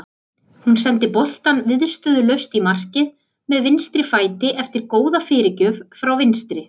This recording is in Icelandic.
Hún sendi boltann viðstöðulaust í markið með vinstri fæti eftir góða fyrirgjöf frá vinstri.